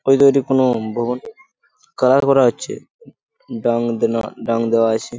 ওইতো কোনো ভবন কালার করা হচ্ছে বাংদেনা ড্যাং দেওয়া আছে।